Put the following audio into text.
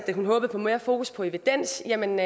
at hun håbede på mere fokus på evidens jamen